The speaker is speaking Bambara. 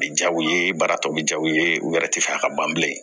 Bɛ jaw ye baara tɔ bɛ ja u ye u yɛrɛ tɛ fɛ a ka ban bilen